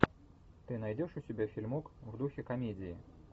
ты найдешь у себя фильмок в духе комедии